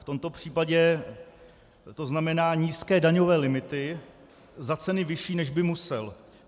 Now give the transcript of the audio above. V tomto případě to znamená nízké daňové limity za ceny vyšší, než by musel.